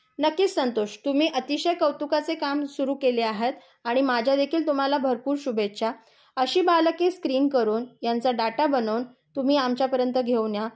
नक्की संतोच. तुम्ही अतिशय कौतुकाचे काम सुरू केले आहात. आणि माझ्या देखील तुम्हाला भरपूर शुभेच्छा. अशी बालके स्क्रीन करून यांचा डाटा बनवून तुम्ही आमच्यापर्यन्त घेऊन या.